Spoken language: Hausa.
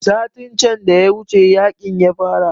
Satin can da ya wuce yaƙin ya fara